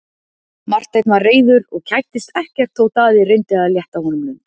Marteinn var reiður og kættist ekkert þótt Daði reyndi að létta honum lund.